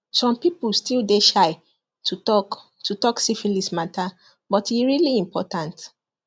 some people still dey shy to talk to talk syphilis matter but e really important